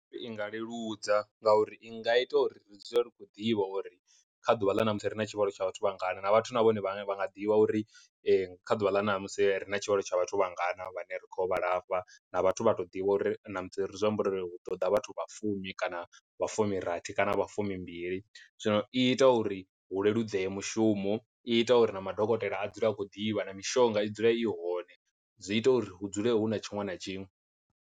I nga leludza ngauri i nga ita uri ri dzule ri khou ḓivha uri kha ḓuvha ḽa ṋamusi ri na tshivhalo tsha vhathu vhangana na vhathu na vhone vhane vha nga ḓivha uri kha ḓuvha ḽa ṋamusi ri na tshivhalo tsha vhathu vhangana vhane ri khou vha lafha, vhathu vha to ḓivha uri ṋamusi ri zwi amba uri hu ḓo ḓa vhathu vha fumi kana vha fumi rathi kana vha fumi mbili. Zwino i ita uri hu leludzee mushumo i ita uri na madokotela a dzule a khou ḓivha na mishonga i dzule i hone zwi ita uri hu dzule hu na tshiṅwe na tshiṅwe.